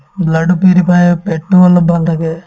blood ও purify হয় পেটতোও অলপ ভাল থাকে